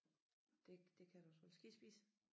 Det det kan du også roligt skal I spise?